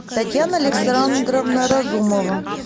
татьяна александровна разумова